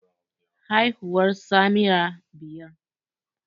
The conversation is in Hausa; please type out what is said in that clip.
Haihuwar Samira biyar